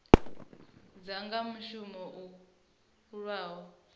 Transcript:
dza nga shumiswa u lwa